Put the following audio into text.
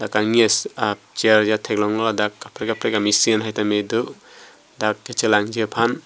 kangni a chair ajat theklong lo ladak kaprek kaprek a machine tame do dak kachelangji aphan.